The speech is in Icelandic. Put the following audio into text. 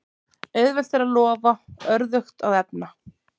Auðvelt er að lofa, örðugt að efna.